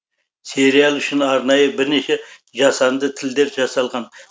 сериал үшін арнайы бірнеше жасанды тілдер жасалған